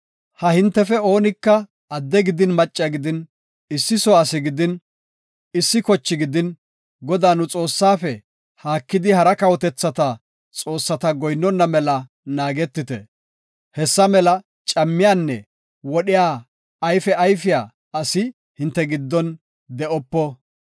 Ha hintefe oonika adde gidin macca gidin, issi soo asi gidin, issi kochi gidin Godaa, nu Xoossaafe, haakidi hara kawotethata xoossata goyinnona mela naagetite. Hessa mela cammiyanne wodhiya ayfe ayfiya asi hinte giddon de7opo.